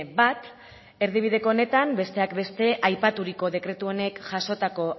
bat erdibideko honetan besteak beste aipaturiko dekretu honek jasotako